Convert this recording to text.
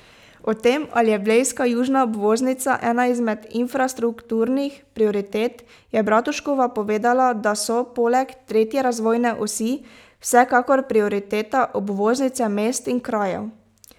O tem, ali je blejska južna obvoznica ena izmed infrastrukturnih prioritet, je Bratuškova povedala, da so poleg tretje razvojne osi, vsekakor prioriteta obvoznice mest in krajev.